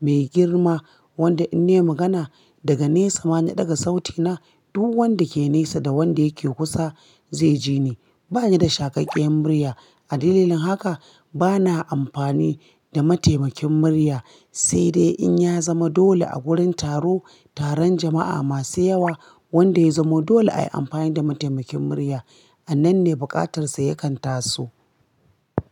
mai girma, wanda in ne magana daga nesa mana ɗaga sautina, du wanda ke nesa da wanda yake kusa zai ji ni. Ba ni da shaƙaƙƙiyan murya. A dalilin haka ba na ampani da mataimakin murya, sai dai in ya zama dole a gurin taro, taron jama'a masu yawa wanda ya zamo dole ayi ampan da mataimakin murya. Anan ne buƙatar sa yakan taso.